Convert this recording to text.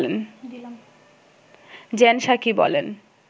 gen Psaki বলেন